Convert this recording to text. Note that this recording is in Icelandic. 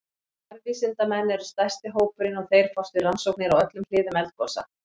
Jarðvísindamenn eru stærsti hópurinn og þeir fást við rannsóknir á öllum hliðum eldgosa.